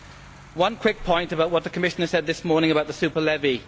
I have one quick point on what the Commissioner said this morning about the super levy.